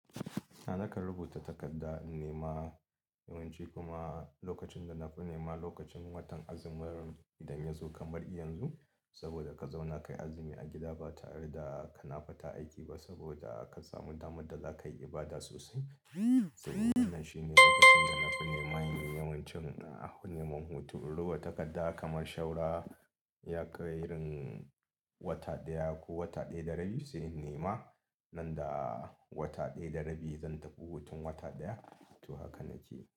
A'a nakan rubuta takarda in nema yawanci kuma lokacin da na fi nema lokacin watan azumi idan ya zo kamar yanzu saboda ka zauna ka yi azumi a gida ba tare da ka na fita aiki ba saboda ka samu damar da za ka yi ibada sosai. Wannan shine lokacin dana fi nema da yawancin nema hoto. Rubuta takarda kamar shaura ya kai rin wata ɗaya ko wata ɗaya da rabi sai in nema. Nanda wata ɗaya da rabi zan tafi hutun wata ɗaya, to haka nake.